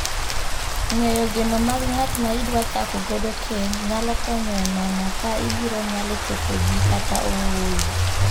Ng'eyo geno mag ng'at ma idwa chako godo keny nyalo konyo enono ka ibiro nyalo chopogi kata ooyo.